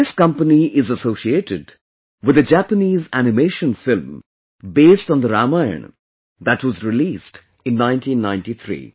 This company is associated with the Japanese Animation Film based on Ramayana that was released in 1993